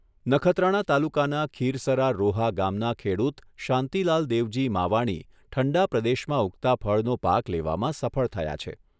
નખત્રાણા તાલુકાના ખીરસરા રોહા ગામના ખેડૂત શાંતિલાલ દેવજી માવાણી ઠંડા પ્રદેશમાં ઊગતા ફળનો પાક લેવામાં સફળ થયા છે.